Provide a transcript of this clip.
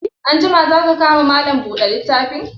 Anjima za ka ka ma Malam buɗe littafi?